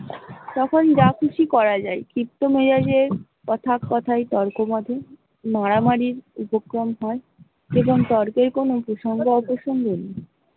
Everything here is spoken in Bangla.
তখন যা খুসি করা যায়, ক্ষিপ্ত মেজাজে কথায় কথায় তর্কই বাধে, মারামারি র উপক্রম হয়, এবং তর্কের কোন ।